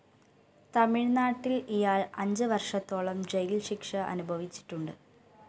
തമിഴ് നാട്ടില്‍ ഇയാള്‍ അഞ്ച് വര്‍ഷത്തോളം ജയില്‍ ശിക്ഷ അനുഭവിച്ചിട്ടുണ്ട്